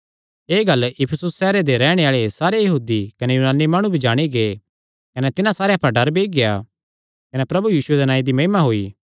एह़ गल्ल इफिसुस सैहरे दे रैहणे आल़े सारे यहूदी कने यूनानी माणु भी जाणी गै कने तिन्हां सारेयां पर डर बेई गेआ कने प्रभु यीशुये दे नांऐ दी महिमा होई